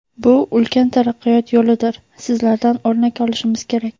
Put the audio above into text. Bu ulkan taraqqiyot yo‘lidir, sizlardan o‘rnak olishimiz kerak.